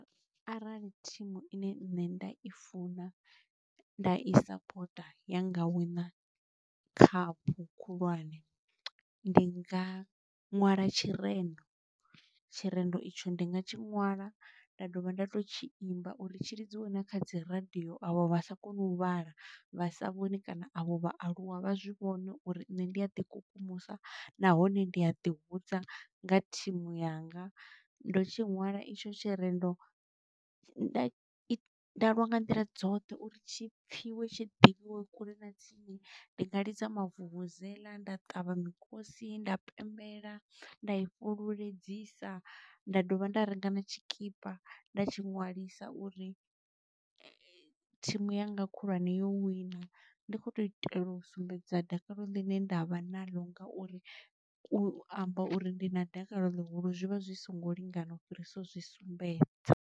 Arali thimu ine nṋe nda i funa nda i sapota ya nga wina khaphu khulwane, ndi nga ṅwala tshirendo, tshirendo itsho ndi nga tshi ṅwala nda dovha nda to tshi imba uri tshi lidziwe na kha dzi radio avho vha sa koni u vhala, vha sa vhoni kana avho vhaaluwa vha zwi vhone uri nṋe ndi a ḓi kukumusa nahone ndi a ḓi hudza nga thimu yanga. Ndo tshi ṅwala itsho tshirendo nda lwa nga nḓila dzoṱhe uri tshipfhiwe tshi ḓivhiwe kule na tsini ndi nga lidza mavuvuzala nda ṱavha mikosi nda pembela nda i fhululedzisa nda dovha nda renga na tshikipa nda tshi ṅwalisa uri thimu yanga khulwane yo wina ndi kho to itela u sumbedza dakalo ḽine nda vha na ḽo ngauri u amba uri ndi na dakalo ḽihulu zwivha zwi songo lingana u fhirisa zwi sumbedza